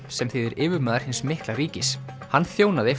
sem þýðir yfirmaður hins mikla ríkis hann þjónaði